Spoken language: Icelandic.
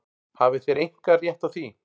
Hafið þér einkarétt á því?